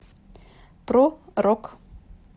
про рок